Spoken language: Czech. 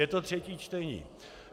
Je to třetí čtení.